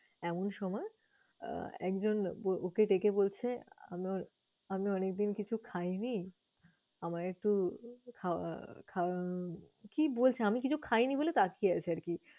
এমন সময় আহ একজন ওকে ডেকে বলছে, আমার~আমি অনেকদিন কিছু খাইনি আমায় একটু খাওয়া~খা~ কি বলছে, আমি কিছু খাইনি বলে তাকিয়ে আছে আরকি